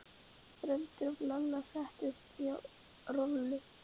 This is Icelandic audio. Bröndu af Lalla og setti hana hjá Rolu.